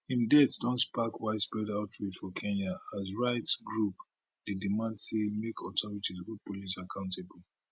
im death don spark widespread outrage for kenya as rights groups dey demand say make authorities hold police accountable